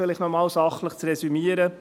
– Um noch einmal sachlich zu resümieren: